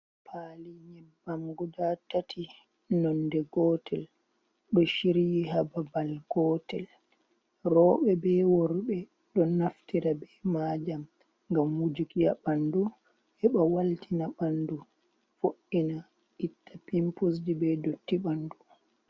Pali nyebbamguda tati nonɗe gotel ɗo chiryi hababal gotel roɓe ɓe worɓe ɗo naftira ɓe majam gam mujukya ɓandu heɓa waltina ɓandu fo’’ina itta pimpusji ɓe dotti ɓandu .